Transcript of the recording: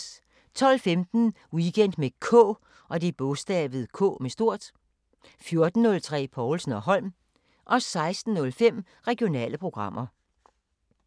12:15: Weekend med K 14:03: Povlsen & Holm 16:05: Regionale programmer